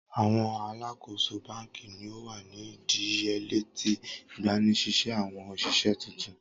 Awọn aláàkóso banki ni o wa ni idiyele ti igbanisise awọn oṣiṣẹ tuntun.